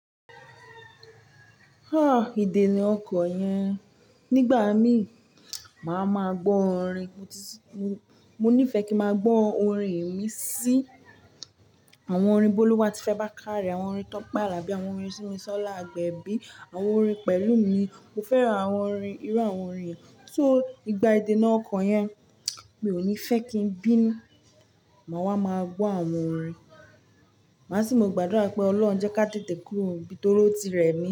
Idena ọkọ yẹn. Nigba mi, ma máa gbọ orin. Mo nifẹ ki ma gbọ orin imisi awọn orin Boluwatife Bakare, awọn orin Tope Alabi awọn orin Simisola Agbebi, awọn orin Pelumi. Mo fẹran awọn orin, iru awọn orin yẹn. So, igba idena ọkọ yẹn, mi o ni fẹ ki n bi nù, má wà má gbọ awọn orin. Ma si mo gbadura ipe Ọlọrun jẹ ka tẹtè kúrò ń bí, tori ó ti rẹ mi.